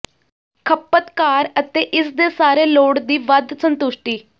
ਖਪਤਕਾਰ ਅਤੇ ਇਸ ਦੇ ਸਾਰੇ ਲੋੜ ਦੀ ਵੱਧ ਸੰਤੁਸ਼ਟੀ